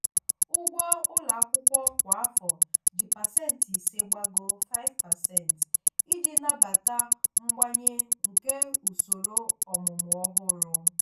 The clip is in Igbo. ụgwọ ụlọ akwụkwọ kwa afọ ji pasentị ise gbagoo (5%) iji nabata mgbanwe nke usoro ọmụmụ ọhụrụ.